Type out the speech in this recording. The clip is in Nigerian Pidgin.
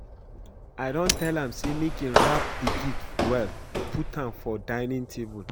I don tell am say make he wrap the gift well put am for dinning table